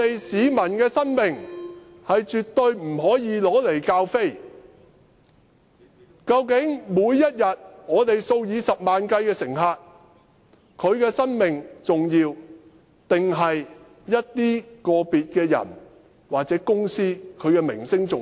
市民的生命絕對不可以用來開玩笑，究竟每天數以十萬計乘客的生命重要，還是個別人士或個別公司的名聲重要？